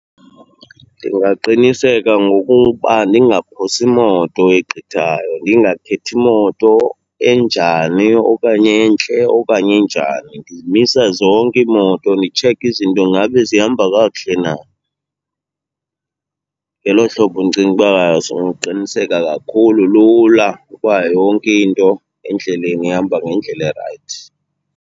Ndingaqiniseka ngokuba ndingaphosi moto egqithayo, ndingakhethi moto enjani, okanye entle okanye enjani. Ndizimisa zonke iimoto nditshekhe izinto ngabe zihamba kakuhle na. Ngelo hlobo ndicinga uba soqiniseka kakhulu, lula, ukuba yonke into endleleni ihamba ngendlela erayithi.